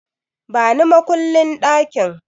Bani makullin ɗakin!